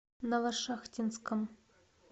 новошахтинском